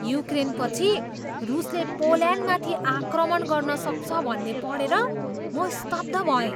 युक्रेनपछि रुसले पोल्यान्डमाथि आक्रमण गर्न सक्छ भन्ने पढेर म स्तब्ध भएँ।